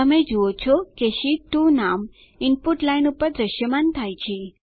તમે જુઓ છો કે શીટ 2 નામ ઇનપુટ લાઇન પર દ્રશ્યમાન થાય છે